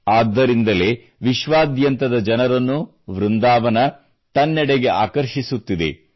ಆದ್ದರಿಂದಲೇ ವಿಶ್ವಾದ್ಯಂತದ ಜನರನ್ನು ವೃಂದಾವನ್ ತನ್ನೆಡೆಗೆ ಆಕರ್ಷಿಸುತ್ತಿದೆ